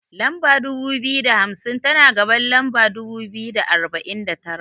Lamba dubu biyu da hamsin, tana gaban lamba dubu biyu da arba'in da tara.